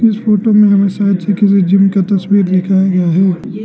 इस फोटो में हमें जिम का तस्वीर दिखाया गया है।